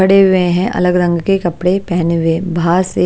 खड़े हुए हैं अलग रंग के कपडे पहने हुए --